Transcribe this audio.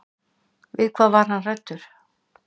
Við hvað var hann hræddur?